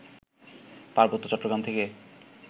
পার্বত্য চট্টগ্রাম থেকে